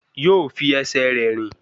Yóò fi ẹsẹ̀ rẹ̀ rìn